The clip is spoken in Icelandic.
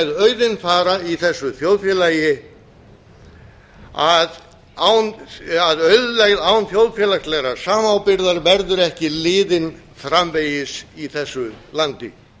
með auðinn fara í þessu þjóðfélagi að auðlegð án þjóðfélagslegrar samábyrgðar verður ekki liðin framvegis í þessu landi